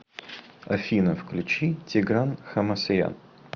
афина включи тигран хамасаян